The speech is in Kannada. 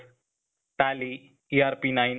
tally, ERP nine ,